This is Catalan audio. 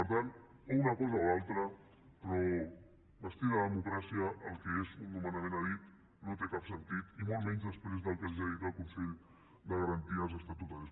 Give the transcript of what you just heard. per tant o una cosa o l’altra però vestir de democràcia el que és un nomenament a dit i no té cap sentit i molt menys després del que els ha dit el consell de garanties estatutàries